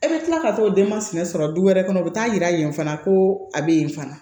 E bɛ tila ka t'o denmasina sɔrɔ du wɛrɛ kɔnɔ o bɛ taa yira yen fana ko a bɛ yen fana